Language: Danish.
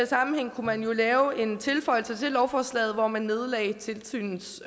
sammenhæng kunne man jo lave en tilføjelse til lovforslaget hvor man nedlagde tilsynets